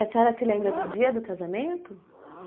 E a senhora se lembra do dia do casamento?